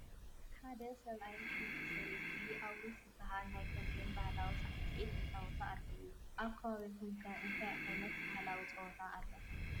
ሓደ ሰብኣይን ሓንቲ ሰበይትን ኣውርስ ዝበሃል ናይ ተምቤን ባህላዊ ሳዕስዒት ይፃወቱ ኣለዉ፡፡ ኣብ ከባቢኹም ከ እንታይ ዓይነት ባህላዊ ፀወታ ኣሎ?